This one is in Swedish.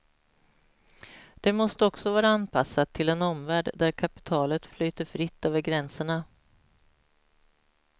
Det måste också vara anpassat till en omvärld där kapitalet flyter fritt över gränserna.